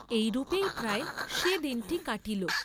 এইরূপেই প্রায় সে দিনটি কাটিল।